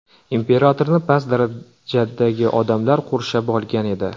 Imperatorni past darajadagi odamlar qurshab olgan edi.